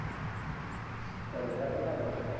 ત્રણ હજર બરાબર કેવાય.